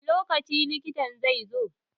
Wani lokaci likitan zai zo?